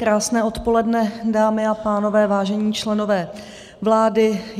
Krásné odpoledne, dámy a pánové, vážení členové vlády.